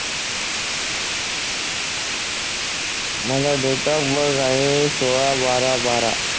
माझा date of birth आहे सोळा बारा बारा